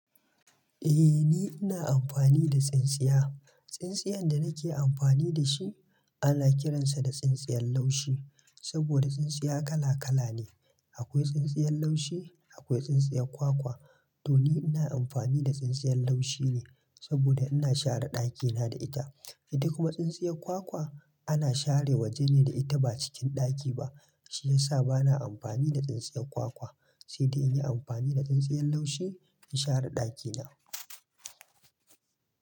Eh ni ina amfani da tsintsiya. Tsintsiya da nake amfani da shi ana kiransa da tsintsiya laushi. Saboda tsintsiya kala kala ne. Akwai tsintsiya laushi, akwai tsintsiya kwakwa. To ni ina amfani da tsintsiya laushi ne saboda ina share ɗakina da ita. Ita kuma tsintsiya kwakwa ana share waje ne da ita ba cikin ɗaki ba. Shi ya sa bana amfani da tsintsiyar kwakwa, sai dai in yi amfani da tsintsiyar laushi in share ɗakina.